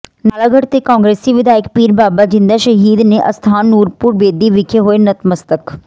ਨਾਲਾਗੜ੍ਹ ਦੇ ਕਾਂਗਰਸੀ ਵਿਧਾਇਕ ਪੀਰ ਬਾਬਾ ਜ਼ਿੰਦਾ ਸ਼ਹੀਦ ਦੇ ਅਸਥਾਨ ਨੂਰਪੁਰ ਬੇਦੀ ਵਿਖੇ ਹੋਏ ਨਤਮਸਤਕ